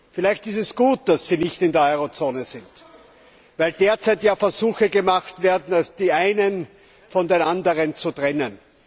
Vielleicht ist es gut, dass Sie nicht in der Eurozone sind, weil derzeit ja Versuche gemacht werden, die einen von den anderen zu trennen.